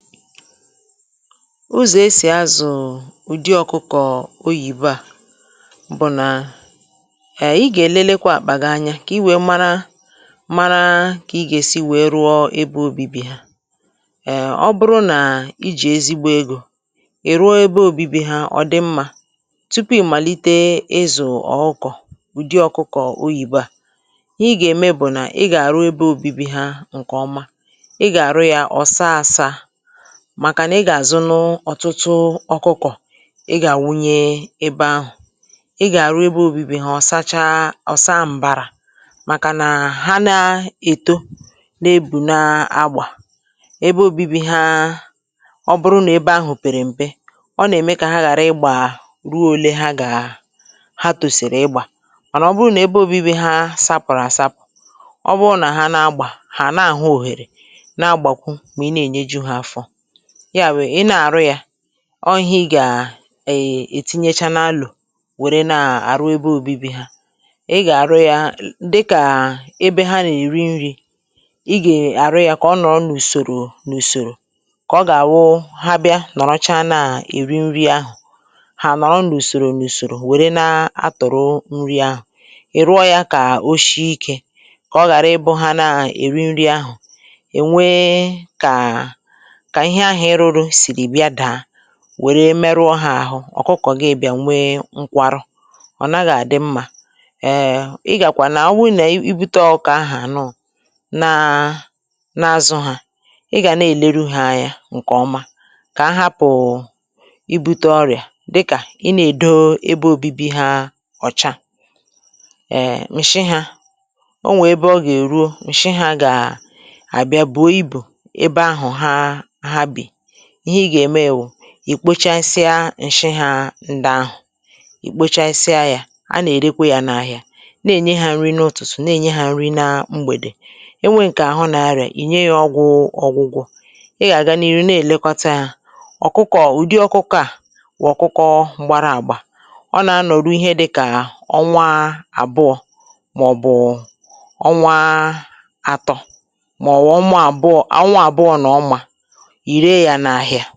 Ụzọ̀ esì azụ̀ ụ̀dị ọkụkọ oyìbo à, bụ̀ nà, eee ị gà-èlelekwa àkpà gị anya kà i wèe mara mara kà ị gà-èsi wèe rụọ ebe obi̇bì ha um ọ bụrụ nà ijì ezigbo egȯ, ì ruo ebe obi̇bì ha ọ dị mmȧ tupu ị̀ màlite izù ọkụkọ ụ̀dị ọ̀kụkọ̀ oyìbo à, ihe igà-ème bụ̀ nà ị gà-àrụ ebe obi̇bì ha ǹkè ọma, ị gà-àrụ yȧ ọ̀ saa àsȧ màkànà ị gà àzụ nụ ọ̀tụtụ ọkụkọ ị gà àwunye ebe ahụ̀, ị gà àru ebe obibi hȧ ọ̀ sacha ọ̀ saa m̀barà, màkànà ha na èto na ebù na agbà, ebe obibi ha, ọ bụrụ nà ebe ahụ̀ pèrè m̀pe, ọ nà ème kà ha ghàra ịgbà ruo ole ha gà ha tòsìrì ịgbà, mànà ọ bụrụ nà ebe obibi ha sapùrù àsapụ̀, ọ bụrụ nà ha na agbà hà na àhụ òhèrè na agbàkwụ mà ị́ na ényé jú ha afọ, ya wù ina arụ ya ọ ihe ị gà è ètinyecha n’alụ̀ wèrè na-àrụ ebe òbibi ha, ị gà-àrụ ya dịkà ebe ha nà-èri nri̇, ị gà-arụ ya kà ọ nọ̀ n’ùsòrò n’ùsòrò, kà ọ gà-àwụ ha bịa nọ̀rọcha na-èri nri ahụ̀, ha nọ̀rọ n’ùsòrò n’ùsòrò wèrè na-atụ̀rụ nri ahụ̀, ị̀rụọ ya kà o shi ikė, kà ọ ghàra ịbụ̇ ha na-èri nri ahụ̀, enwe kà kà ihe ahụ iruru siri bịa daa wère meruo ha ahụ̀ ọ̀kụkọ̀ gị bịà nwe nkwarụ, ọ̀ naghàdị̀ mmà, eee ị gàkwà nà ọ wụrụ nà i bute ọkà ahụ̀ ànụụ̀, na na-azụ̀ ha, ị gà nà-eleru ha anya ǹkè ọma, kà a hapụ̀ i bute ọrịà dịkà ị nà-èdo ebe obibi ha ọ̀cha um ǹshị hȧ, o nwè ebe ọ gà-èruo ǹshị hȧ gà àbịa bụ̀o ịbụ ébé áhù há há bi, ihe ịga eme wụ̀, ì kpochasịa ǹshị hȧ ndi ahụ̀, ì kpochasịa yȧ a nà-èrekwe yȧ n’ahìa, na-ènye hȧ nri n’otùtù na-ènye hȧ nri na mgbèdè, e nwe ǹkè àhụ na-arịà ì nye yȧ ọgwụ̇ ọgwụgwọ, ị gà-àgànihi na-èlekọta yȧ, ọ̀kụkọ̀ ụ̀dị ọkụkọ à wụ̀ ọ̀kụkọ mgbȧrȧ àgbà, ọ nà-anọ̀rụ ihe dịkà ọnwa àbụọ màọ̀bụ̀ ọnwa àtọ̇, màọ̀bụ̀ ọnwa àbụọ, ọnwa àbụọ nà ọma ire ya n’ahịa.